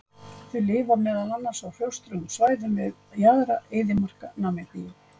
þau lifa meðal annars á hrjóstrugum svæðum við jaðra eyðimarka namibíu